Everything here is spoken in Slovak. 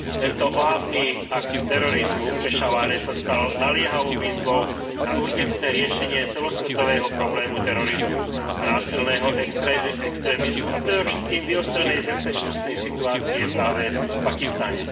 Tento ohavný akt terorizmu v Pešávare sa stal naliehavou výzvou a urgentné riešenie celosvetového problém terorizmu a násilného extrémizmu a predovšetkým vyostrenej bezpečnostnej situácie práve v Pakistane.